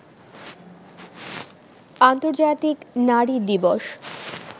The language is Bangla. অন্তর্জাতিক নারী দিবস